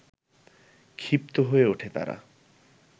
ক্ষিপ্ত হয়ে ওঠে তারা